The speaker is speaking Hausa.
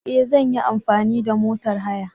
E! Zan yi amfani da motor haya.